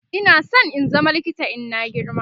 Ina San in zama likita in na girma